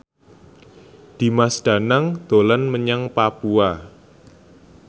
Dimas Danang dolan menyang Papua